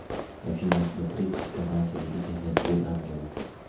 афина смотреть канал телевидения три ангела